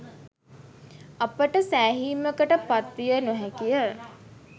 අපට සෑහීමකට පත්විය නොහැකිය.